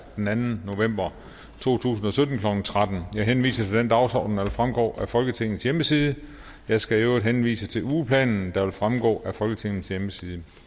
den anden november to tusind og sytten klokken tretten jeg henviser til den dagsorden der fremgår af folketingets hjemmeside jeg skal øvrigt henvise til ugeplanen der vil fremgå af folketingets hjemmeside